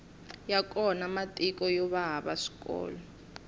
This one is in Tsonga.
ya kona matiko yova hava swikolo